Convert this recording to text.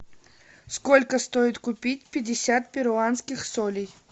сколько стоит купить пятьдесят перуанских солей